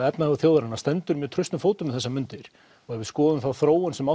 efnahagur þjóðarinnar stendur mjög traustum fótum um þessar mundir og ef við skoðum þá þróun sem